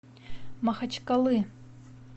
махачкалы